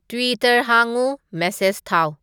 Twitter ꯍꯥꯡꯉꯨ message ꯊꯥꯎ